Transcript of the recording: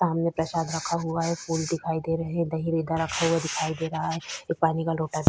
सामने प्रसाद रखा हुआ है फूल दिखाई दे रहे दही इधर रखा हुआ दिखाई दे रहा है एक पानी का लोटा --